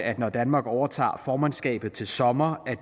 at når danmark overtager formandskabet til sommer